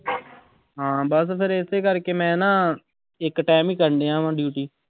ਹਾਂ ਬਸ ਫਿਰ ਇਸੇ ਕਰਕੇ ਮੈਂ ਨਾ ਇੱਕ time ਹੀ ਕਰ ਰਿਹਾਂ ਵਾਂ duty